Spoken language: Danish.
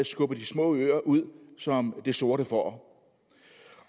skubbet de små øer ud som det sorte får